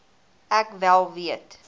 ek wel weet